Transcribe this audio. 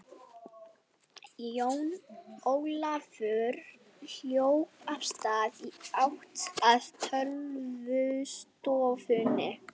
Jón Ólafur hljóp af stað í átt að tölvustofunni.